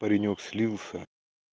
паренёк отказался